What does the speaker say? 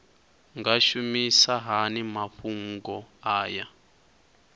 nga shumisa hani mafhumgo aya